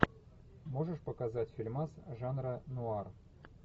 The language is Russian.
можешь показать фильмас жанра нуар